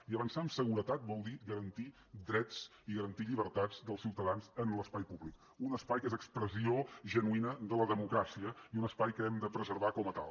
i avançar amb seguretat vol dir garantir drets i garantir llibertats dels ciutadans en l’espai públic un espai que és expressió genuïna de la democràcia i un espai que hem de preservar com a tal